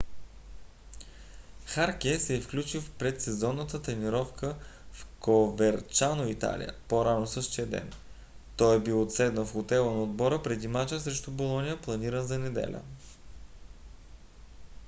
харке се е включил в предсезонната тренировка в коверчано италия по-рано същия ден. той е бил отседнал в хотела на отбора преди мача срещу болоня планиран за неделя